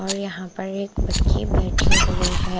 और यहाँ पर एक बच्ची बैठी हुई है ।